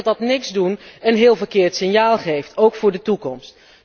Ik denk dat dat 'niets doen' een heel verkeerd signaal geeft, ook voor de toekomst.